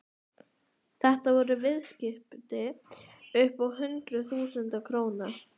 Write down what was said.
Þetta voru viðskipti upp á hundruð þúsunda króna.